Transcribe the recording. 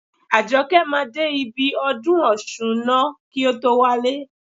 Àjọkẹ́ máa dé ibi ọdún ọ̀ṣun ná kí o tó wálé.